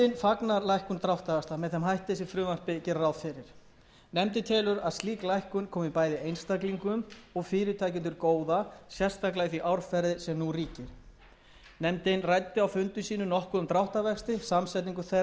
fagnar lækkun dráttarvaxta með þeim hætti sem frumvarpið gerir ráð fyrir nefndin telur að slík lækkun komi bæði einstaklingum og fyrirtækjum til góða sérstaklega í því árferði sem nú ríkir nefndin ræddi á fundum sínum nokkuð um dráttarvexti samsetningu þeirra